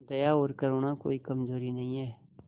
दया और करुणा कोई कमजोरी नहीं है